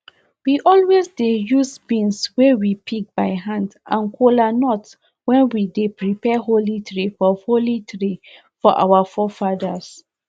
we always dey use beans wey we pick by hand and kolanut when we dey prepare holy tray for holy tray for our forefathers